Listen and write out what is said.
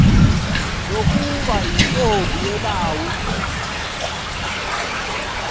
nokuba yintombi yelawu